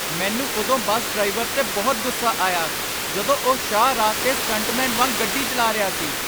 ਮੈਨੂੰ ਉਦੋਂ bus driver 'ਤੇ ਬਹੁਤ ਗੁੱਸਾ ਆਇਆ ਜਦੋਂ ਉਹ ਸ਼ਾਹ ਰਾਹ 'ਤੇ ਸਟੰਟਮੈਨ ਵਾਂਗ ਗੱਡੀ ਚਲਾ ਰਿਹਾ ਸੀ।